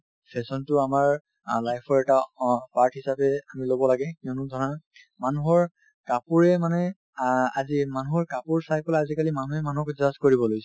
fashion তো আমাৰ অ life ৰ এটা অ part হিচাপে আমি ল'ব লাগে কিয়নো ধৰা মানুহৰ কাপোৰে মানে আ~ আজিৰ মানুহৰ কাপোৰ চাই পেলাই আজিকালি মানুহে মানুহক judge কৰিব লৈছে